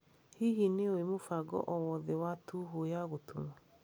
Hihi nĩ ũĩ mũbango o wothe wa tũhũ ya gũtuma